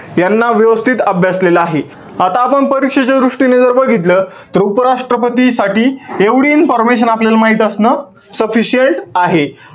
यांना व्यवस्थित अभ्यासलेलं आहे. आता आपण परीक्षेच्या दृष्टीने जर बघितलं. तर उपराष्ट्रपतीसाठी एवढी information आपल्याला माहित असणं sufficient आहे.